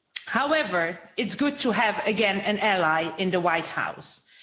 However, it's good to have an ally in the White House again.